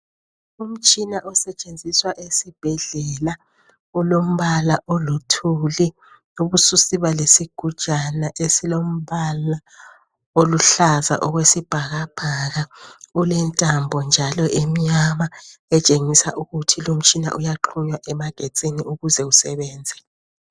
Umtshina osetshenziswa esibhedlela ulombala oluthuli. Ubususiba lesigujana esilombala oluhlaza okwesibhakabhaka. Ulentambo njalo emnyama etshengisa ukuthi lo umtshina uyaxunywa emagetsini ukuze usebenze.